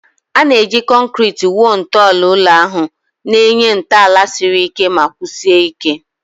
A na-eji concreti wuo ntọala ụlọ elu ahụ, na-enye ntọala siri ike ma kwụsie ike.